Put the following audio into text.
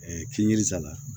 k'i yiri sala